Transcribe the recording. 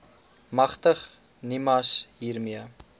magtig nimas hiermee